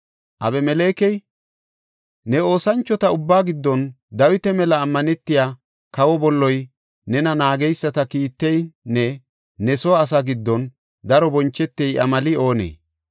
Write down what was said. Abimelekey, “Ne oosanchota ubbaa giddon Dawita mela ammanetey, kawa bolloy, nena naageysata kiitteynne ne soo asaa giddon daro bonchetey iya meli oonee?